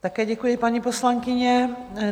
Také děkuji, paní poslankyně.